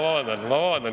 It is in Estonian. Vabandust!